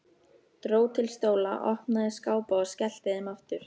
Dró til stóla, opnaði skápa og skellti þeim aftur.